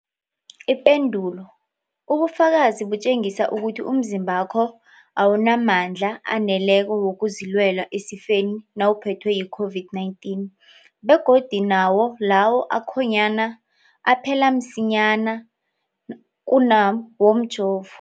Ipendulo, ubufakazi butjengisa ukuthi umzimbakho awunamandla aneleko wokuzilwela esifeni nawuphethwe yi-COVID-19, begodu nawo lawo akhonyana aphela msinyana kunawomjovo.